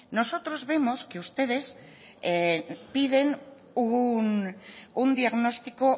nosotros vemos que ustedes piden un diagnóstico